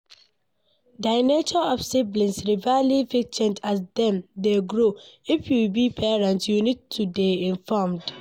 Di nature of sibling rivalry fit change as dem dey grow, if you be parent you need to dey informed